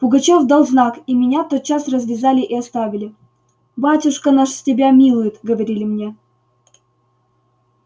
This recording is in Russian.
пугачёв дал знак и меня тотчас развязали и оставили батюшка наш тебя милует говорили мне